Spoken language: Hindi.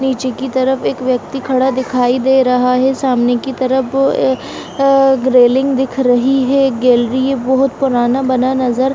नीचे की तरफ एक व्यक्ति खड़ा दिखाई दे रहा है सामने की तरफ अ ए रेलिंग दिख रही है गैलरी बहुत पुराना बना नज़र --